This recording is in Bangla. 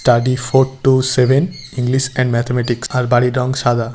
Study four two seven English and mathematics আর বাড়ির রং সাদা।